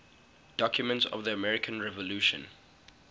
documents of the american revolution